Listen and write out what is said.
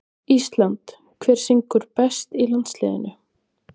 ÍSLAND Hver syngur best í landsliðinu?